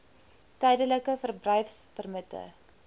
tydelike verblyfpermitte